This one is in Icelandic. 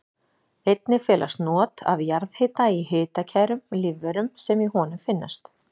Einnig felast not af jarðhita í hitakærum lífverum sem í honum finnast.